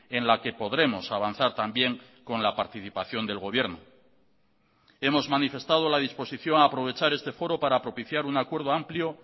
en la que podremos avanzar también con la participación del gobierno hemos manifestado la disposición a aprovechar este foro para propiciar un acuerdo amplio